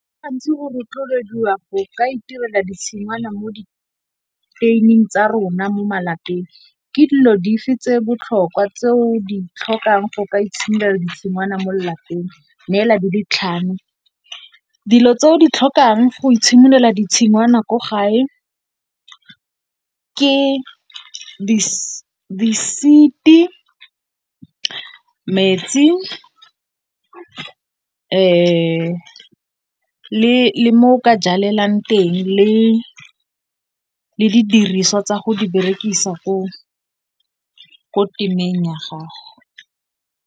Gantsi go rotloediwa go ka itirela ditshingwana mo di teining tsa rona mo malapeng, ke dilo dife tse botlhokwa tse o di tlhokang go ka itshimolela di tshingwana mo lelapeng? Neela tse di ditlhano. Dilo tse o di tlhokang go itshimololela ditshingwana ko gae, ke di seed, metsi le mo o ka jalang teng le di diriswa tsa go di berekisa ko temeng ya gago.